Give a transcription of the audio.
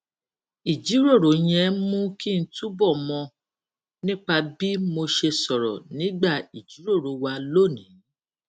ìjíròrò yẹn mú kí n túbọ mọ nípa bí mo ṣe sọrọ nígbà ìjíròrò wa lónìí